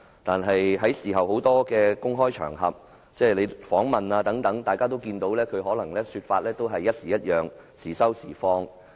但是，在事後多個公開場合如記者訪問中，大家也可看到他的說法次次不同、時收時放。